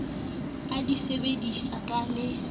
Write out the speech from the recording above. o di sebedise ka le